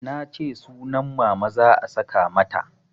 Nace sunan Mama za a saka mata